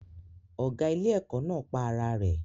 Ọ̀gá ilé-ẹ̀kọ́ náà pa ara rẹ̀